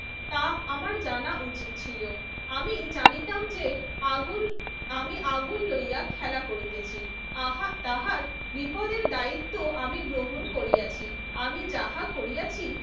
তা আমার জানা উচিত ছিল। আমি জানিতাম যে আগুন, আমি আগুন লইয়া খেলা করিতেছি। আহা তাহার বিপদের দায়িত্ব আমি গ্রহণ করিয়াছি। আমি যাহা করিয়াছি